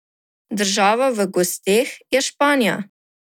Država v gosteh je Španija.